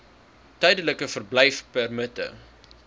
tydelike verblyfpermitte